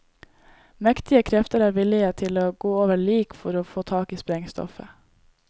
Mektige krefter er villige til å gå over lik for å få tak i sprengstoffet.